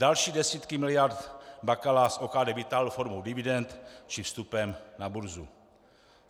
Další desítky miliard Bakala z OKD vytáhl formou dividend či vstupem na burzu.